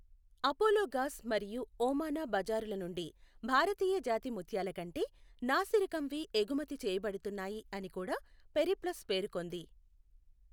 అపోలోగాస్ మరియు ఓమానా బజారుల నుండి భారతీయ జాతి ముత్యాల కంటే నాసిరకంవి ఎగుమతి చేయబడుతున్నాయి అని కూడా పెరిప్లస్ పేర్కొంది.